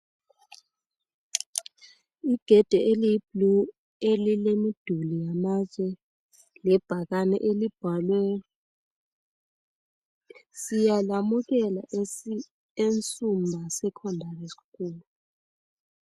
Igede eliyiblue elilemiduli yamatshe .Lebhakane elibhalwe. Siyalamukela e Nsumba Secondary School .